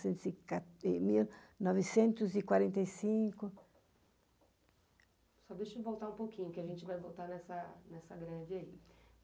e, novecentos e quarenta e cinco. Só deixa eu voltar um pouquinho, que a gente vai voltar nessa nessa greve aí.